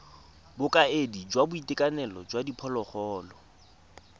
bokaedi jwa boitekanelo jwa diphologolo